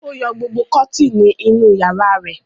Ó yọ gbogbo kọ́tíínì inú ìyàrá rẹ̀?